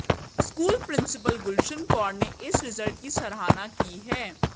school principal Gulshan Kaur ने इस result की सराहना की है